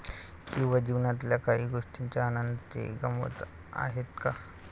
किंवा जीवनातल्या काही गोष्टींचा आनंद ते गमावत आहेत का?